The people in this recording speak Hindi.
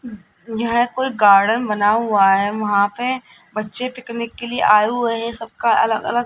यह कोई गार्डन बना हुआ है वहां पे बच्चे पिकनिक के लिए आए हुए है सबका अलग अलग --